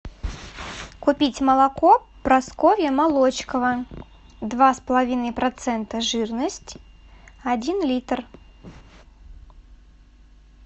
купить молоко прасковья молочкова два с половиной процента жирность один литр